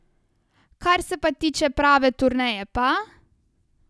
Kar se pa tiče prave turneje pa ...